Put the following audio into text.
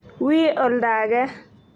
Wi ulda ake.